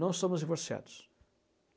Nós somos divorciados.